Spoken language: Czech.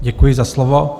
Děkuji za slovo.